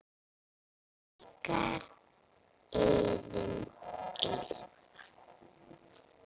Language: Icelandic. Ykkar, Iðunn Elfa.